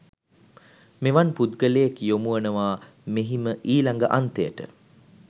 මෙවන් පුද්ගලයෙක් යොමු වනවා මෙහිම ඊළඟ අන්තයට.